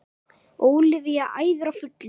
Ólafía æfir á fullu